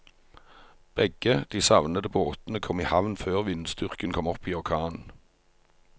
Begge de savnede båtene kom i havn før vindstyrken kom opp i orkan.